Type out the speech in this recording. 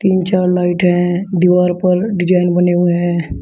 तीन चार लाइट है दीवार पर डिजाइन बने हुए हैं।